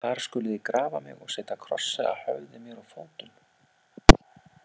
Þar skuluð þið grafa mig og setja krossa að höfði mér og fótum.